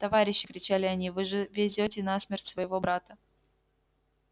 товарищи кричали они вы же везёте на смерть своего брата